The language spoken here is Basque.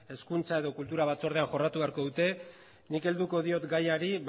hezkuntza edo kultura batzordean jorratu beharko dute nik helduko diot gaiari